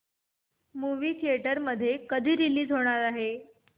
movie theatre मध्ये कधी release होणार आहे